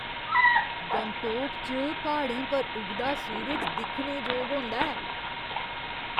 गंगटोक च प्हाड़ें पर उगदा सूरज दिक्खने जोग होंदा ऐ।